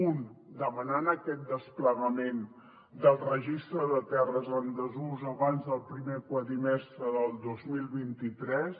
un demanant aquest desplegament del registre de terres en desús abans del primer quadrimestre del dos mil vint tres